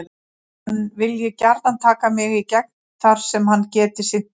Hann vilji gjarnan taka mig í gegn þar sem hann geti sinnt mér.